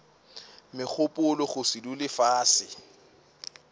megopolo go se dule fase